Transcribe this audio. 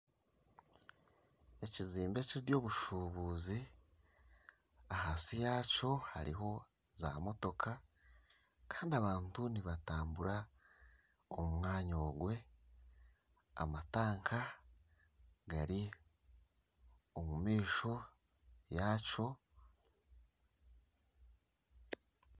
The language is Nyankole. Ekizimbe ekyeby'obushubuuzi ahansi yaakyo hariho zamotoka kandi abantu nibatambura omu mwanya ogwe amatanka gari omu maisho yaakyo